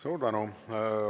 Suur tänu!